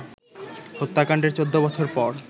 হত্যাকাণ্ডের ১৪ বছর পর